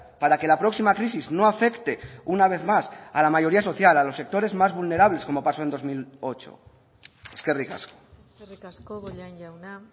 para que la próxima crisis no afecte una vez más a la mayoría social a los sectores más vulnerables como pasó en dos mil ocho eskerrik asko eskerrik asko bollain jauna